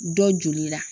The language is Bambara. Dɔ joli la